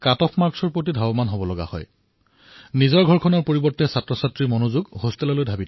শিক্ষাৰ্থীসকলৰ ধ্যান ঘৰৰ পৰা ছাত্ৰাবাসলৈ গুচি যায়